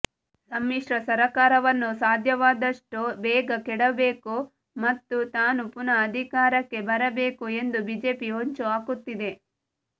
ಸಮ್ಮಿಶ್ರ ಸರಕಾರವನ್ನು ಸಾಧ್ಯವಾದಷ್ಟು ಬೇಗ ಕೆಡವಬೇಕು ಮತ್ತು ತಾನು ಪುನಃ ಅಧಿಕಾರಕ್ಕೆ ಬರಬೇಕು ಎಂದು ಬಿಜೆಪಿ ಹೊಂಚು ಹಾಕುತ್ತಿದೆ